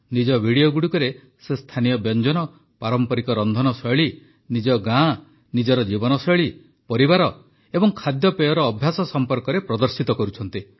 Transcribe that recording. ନିଜ ଭିଡିଓଗୁଡ଼ିକରେ ସେ ସ୍ଥାନୀୟ ବ୍ୟଞ୍ଜନ ପାରମ୍ପରିକ ରନ୍ଧନଶୈଳୀ ନିଜ ଗାଁ ନିଜର ଜୀବନଶୈଳୀ ପରିବାର ଏବଂ ଖାଦ୍ୟପେୟର ଅଭ୍ୟାସ ସମ୍ପର୍କରେ ପ୍ରଦର୍ଶିତ କରୁଛନ୍ତି